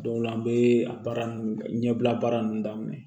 o la an bɛ a baara ninnu ɲɛbila baara ninnu daminɛ